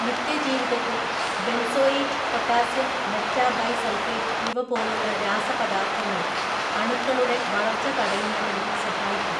നിത്യജീവിതത്തിൽ benzoate potassium metabisulphate ഇവപോലുള്ള രാസപദാർത്ഥ ങ്ങൾ അണുക്കളുടെ വളർച്ച തടയുന്നതിനു സഹായിക്കും.